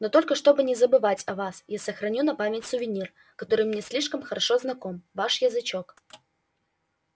но только чтобы не забывать о вас я сохраню на память сувенир который мне слишком хорошо знаком ваш язычок